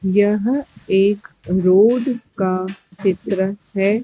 यह एक रोड का चित्र है।